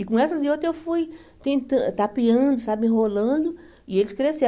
E com essas e outras eu fui tentan tapeando, sabe enrolando, e eles cresceram.